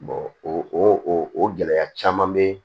o o gɛlɛya caman bɛ